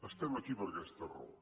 estem aquí per aquesta raó